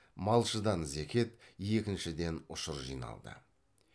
малшыдан зекет егіншіден ұшыр жиналды